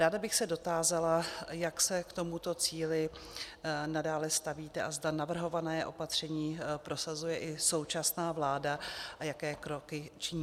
Ráda bych se dotázala, jak se k tomuto cíli nadále stavíte a zda navrhované opatření prosazuje i současná vláda a jaké kroky činí.